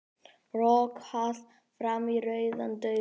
Rokkað fram í rauðan dauðann